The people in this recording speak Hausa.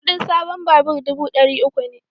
Kudin sabon babur dubu dari uku ne